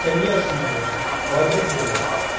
конечно же водители